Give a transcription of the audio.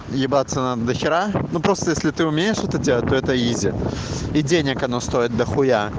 ебаться надо дохера ну просто если ты умеешь это делать то это изи и денег оно стоит дохуя